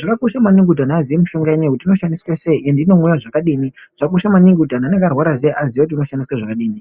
zvakakosha maningi kuti antu azive mishonga iyi kuti inoshanda zvakadini zvakakosha maningi kuti anenge arwara zviyani azive inoshandiswa zvakadini.